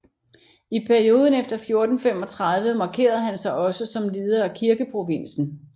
I perioden efter 1435 markerede han sig også som leder af kirkeprovinsen